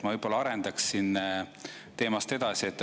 Ma võib-olla arendaksin teemat edasi.